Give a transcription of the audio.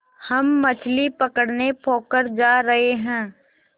हम मछली पकड़ने पोखर जा रहें हैं